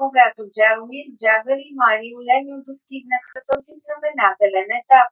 когато джаромир джагър и марио лемьо достигнаха този знаменателен етап